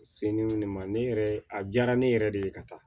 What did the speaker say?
Seliw ne ma ne yɛrɛ a diyara ne yɛrɛ de ye ka taa